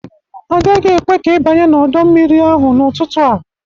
Agaghị ekwe ka ị banye n'ọdọ mmiri ahụ n'ụtụtụ a.